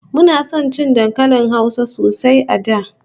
Muna son cin dankalin Hausa sosai a da